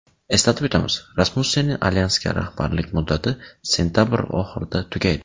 Eslatib o‘tamiz, Rasmussenning Alyansga rahbarlik muddati sentabr oxirida tugaydi.